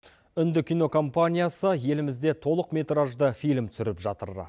үнді кинокомпаниясы елімізде толықметражды фильм түсіріп жатыр